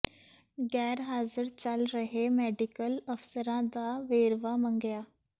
ਗ਼ੈਰ ਹਾਜ਼ਰ ਚੱਲ ਰਹੇ ਮੈਡੀਕਲ ਅਫ਼ਸਰਾਂ ਦਾ ਵੇਰਵਾ ਮੰਗਿਆ